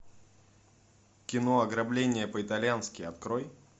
кино ограбление по итальянски открой